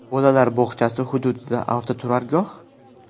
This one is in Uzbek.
Bolalar bog‘chasi hududida avtoturargoh?